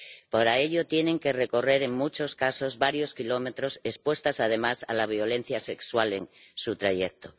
Para ello, tienen que recorrer, en muchos casos, varios kilómetros, expuestas, además, a la violencia sexual en su trayecto.